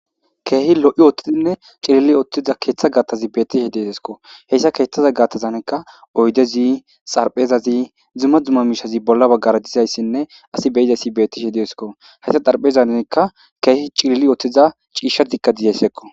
Keehi lo7i ooththidinne cilili uththida keeththa gaaththazi beeththishe detheskko; heyssa keeththaza gaattazaanikka oydezi xarphezazi dzumma dzumma miishshazi bolla baggara dizayssinne asi be7izayssi beeththishe deesikko; haysa xarpheezanikka keehi cilili uththiza ciishshathikka dizayssekko.